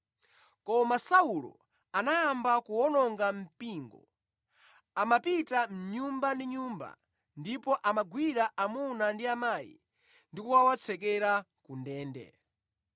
Koma Saulo anayamba kuwononga mpingo. Amapita nyumba ndi nyumba, ndipo amagwira amuna ndi amayi ndi kukawatsekera ku ndende.